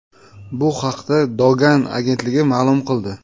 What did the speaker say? Bu haqda Dogan agentligi ma’lum qildi .